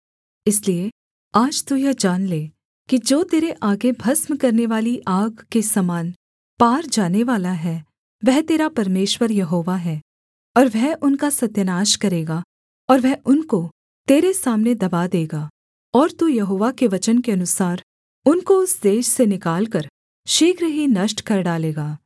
इसलिए आज तू यह जान ले कि जो तेरे आगे भस्म करनेवाली आग के समान पार जानेवाला है वह तेरा परमेश्वर यहोवा है और वह उनका सत्यानाश करेगा और वह उनको तेरे सामने दबा देगा और तू यहोवा के वचन के अनुसार उनको उस देश से निकालकर शीघ्र ही नष्ट कर डालेगा